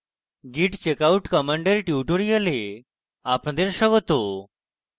git checkout command tutorial আপনাদের স্বাগত